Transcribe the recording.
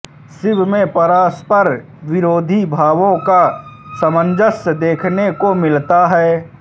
शिव में परस्पर विरोधी भावों का सामंजस्य देखने को मिलता है